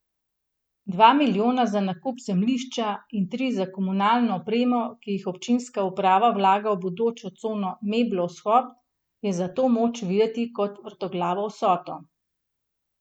Dva milijona za nakup zemljišča in tri za komunalno opremo, ki jih občinska uprava vlaga v bodočo cono Meblo vzhod, je zato moč videti kot vrtoglavo vsoto.